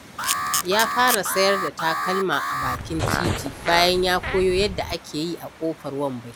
Ya fara sayar da takalma a bakin titi, bayan ya koyo yadda ake yi a ƙofar wambai.